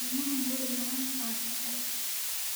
Ilmo hunguri badan baad tahay.